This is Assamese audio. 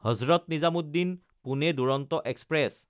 হজৰত নিজামুদ্দিন–পুনে দুৰন্ত এক্সপ্ৰেছ